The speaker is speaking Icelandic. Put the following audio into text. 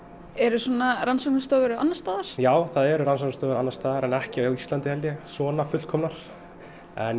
eru svona rannsóknastofur annars staðar já það eru rannsóknastofur annars staðar en ekki á Íslandi held ég svona fullkomnar en ég